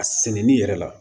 A sɛnɛni yɛrɛ la